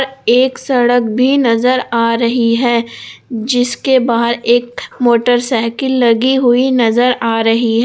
एक सड़क भी नजर आ रही है जिसके बाहर एक मोटरसाइकिल लगी हुई नजर आ रही--